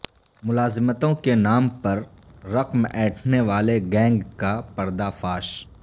ملازمتوں کے نام پر پر رقم اینٹھنے والے گینگ کا پردہ فاش